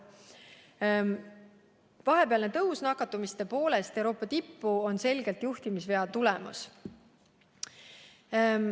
Teatate, et vahepealne tõus nakatumiste poolest Euroopa tippu on selgelt juhtimisvea tulemus.